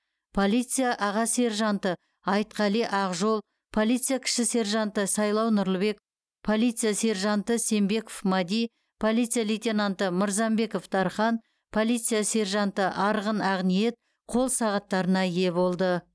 полиция аға сержанты айтқали ақжол полиция кіші сержанты сайлау нұрлыбек полиция сержанты сембеков мади полиция лейтенанты мырзамбеков дархан полиция сержанты арғын ақниет қол сағаттарына ие болды